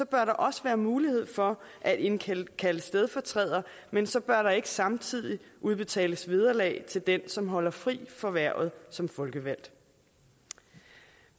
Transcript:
bør der også være mulighed for at indkalde en stedfortræder men så bør der ikke samtidig udbetales vederlag til den som holder fri for hvervet som folkevalgt